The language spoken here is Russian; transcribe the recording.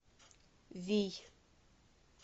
вий